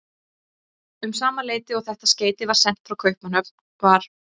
Um sama leyti og þetta skeyti var sent frá Kaupmannahöfn, var